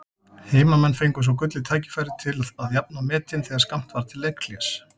Heimamenn fengu svo gullið tækifæri til að jafna metin þegar skammt var til leikhlés.